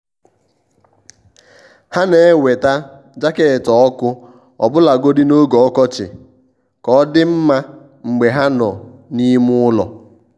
há nà-èwétá jaket ọ́kụ́ ọbụ́lagodi n’ógè ọkọchị kà ọ́ dị́ mma mgbe há nọ́ n’ime ụ́lọ̀.